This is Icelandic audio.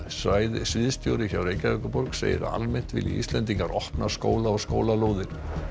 sviðsstjóri hjá Reykjavíkurborg segir að almennt vilji Íslendingar opna skóla og skólalóðir